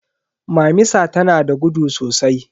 Mamisa tanada gudu sosai.